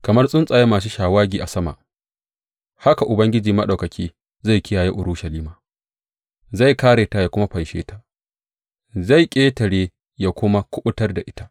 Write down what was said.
Kamar tsuntsaye masu shawagi a sama haka Ubangiji Maɗaukaki zai kiyaye Urushalima; zai kāre ta ya kuma fanshe ta, zai ƙetare’ ta ya kuma kuɓutar da ita.